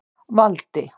Valdi